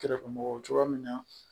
Kɛrɛfɛ mɔgɔ cogoya min na